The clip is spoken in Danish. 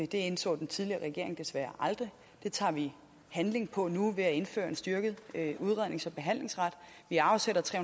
det indså den tidligere regering desværre aldrig det tager vi handling på nu ved at indføre en styrket udrednings og behandlingsret vi afsætter tre